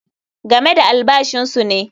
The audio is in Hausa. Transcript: Game da albashinsu ne.